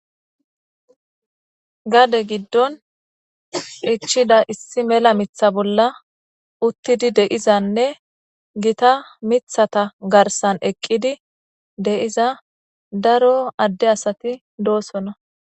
Gade giddon ichida issi mela mitha bolla uttidi deizanne gita mithata garsan eqqidi deiza daro adde asati doosona